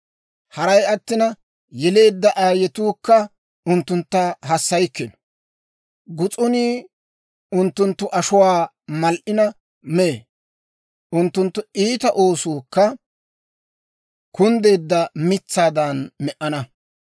Haray attina, yeleedda aayetuukka unttuntta hassaykkino. Gus'unii unttunttu ashuwaa mal"ina mee. Unttunttu iita oosuukka kunddeedda mitsaadan me"ana.